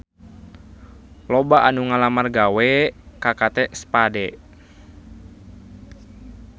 Loba anu ngalamar gawe ka Kate Spade